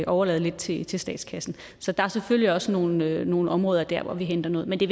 overlade lidt til til statskassen så der er selvfølgelig også nogle nogle områder der hvor vi henter noget men det